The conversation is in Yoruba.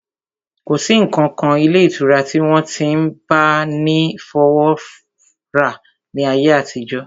Kò sí ǹkankan ilé ìtura tí wọ́n ti n máa bá ni fọwọ́wọ́ra ní ayé àtijọ́